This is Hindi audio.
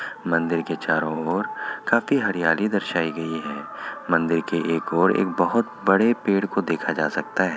मंदिर के चारों ओर काफी हरियाली दर्शायी गई है| मंदिर के एक ओर एक बहुत बड़े पेड़ को देखा जा सकता है।